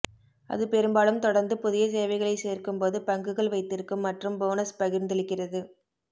அது பெரும்பாலும் தொடர்ந்து புதிய சேவைகளைச் சேர்க்கும்போது பங்குகள் வைத்திருக்கும் மற்றும் போனஸ் பகிர்ந்தளிக்கிறது